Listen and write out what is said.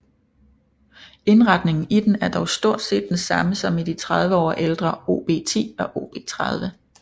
Indretningen i den er dog stort set den samme som i de 30 år ældre OB 10 og OB 30